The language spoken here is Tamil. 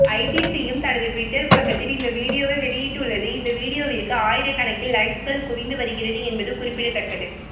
ஐசிசியும் தனது டுவிட்டர் பக்கத்தில் இந்த வீடியோவை வெளியிட்டுள்ளது இந்த வீடியோவிற்கு ஆயிரக்கணக்கில் லைக்ஸ்கள் குவிந்து வருகிறது என்பது குறிப்பிடத்தக்கது